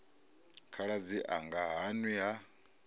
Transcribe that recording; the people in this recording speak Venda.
khaladzi anga ha nwi ha